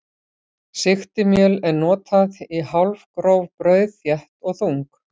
Sigtimjöl er notað í hálfgróf brauð, þétt og þung.